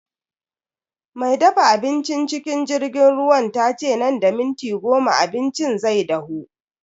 Me dafa abincin cikin jirgin ruwan tace nan da minti goma abincin zai dahu.